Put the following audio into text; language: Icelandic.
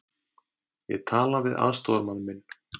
Ég tala við aðstoðarmann minn.